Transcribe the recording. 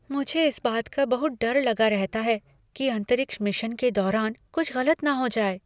मुझे इस बात का बहुत डर लगा रहता है कि कि अंतरिक्ष मिशन के दौरान कुछ गलत न हो जाए।